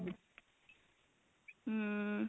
am